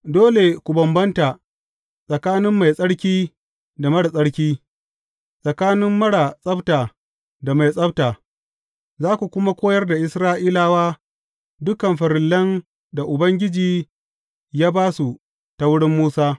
Dole ku bambanta tsakanin mai tsarki da marar tsarki, tsakanin marar tsabta da mai tsabta, za ku kuma koyar da Isra’ilawa dukan farillan da Ubangiji ya ba su ta wurin Musa.